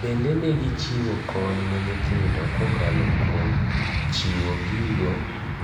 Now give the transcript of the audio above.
Bende ne gi chiwo kony ne nyotjindo kokalo kuom chiwo gigo